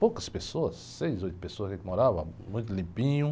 Poucas pessoas, seis, oito pessoas que moravam, muito limpinho.